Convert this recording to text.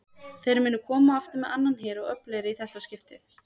Þeir munu koma aftur með annan her og öflugri í þetta skiptið!